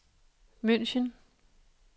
München